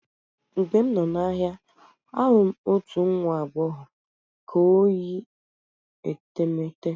Mgbe m nọ n'ahịa, ahụrụ m otu nwa agbọghọ ka o yi etemeete.